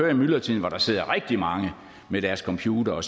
i myldretiden hvor der sidder rigtig mange med deres computere og